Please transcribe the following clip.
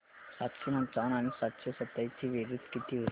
सातशे पंचावन्न आणि सातशे सत्तावीस ची बेरीज किती होईल